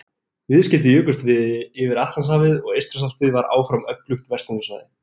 Viðskipti jukust yfir Atlantshafið og Eystrasaltið var áfram öflugt verslunarsvæði.